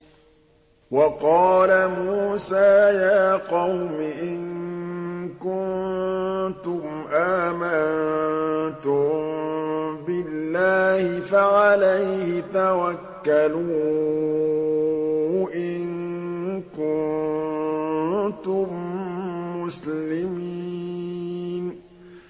وَقَالَ مُوسَىٰ يَا قَوْمِ إِن كُنتُمْ آمَنتُم بِاللَّهِ فَعَلَيْهِ تَوَكَّلُوا إِن كُنتُم مُّسْلِمِينَ